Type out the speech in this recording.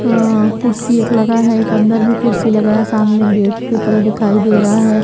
अ कुर्सी एक लगा है एक अंदर भी कुर्सी लगा है सामने गेट की तरह दिखाई दे रहा है।